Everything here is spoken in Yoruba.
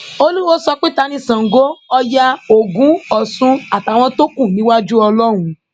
olùwọọ sọ pé ta ni sango ọyá ogun ọsùn àtàwọn tó kù níwájú ọlọrun